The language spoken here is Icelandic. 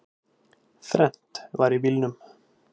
Þrennt var í bílnum